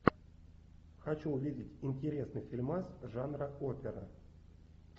хочу увидеть интересный фильмас жанра опера